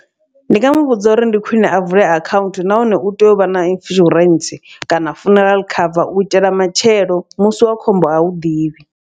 Ndi nga muvhudza uri ndi khwiṅe a vule akhaunthu nahone u tea uvha na insurance kana funeral cover, uitela matshelo musi wa khombo hau ḓivhi.